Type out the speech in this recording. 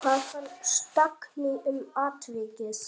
Hvað fannst Dagný um atvikið?